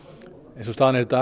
eins og staðan er í dag